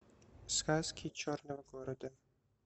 сказки черного города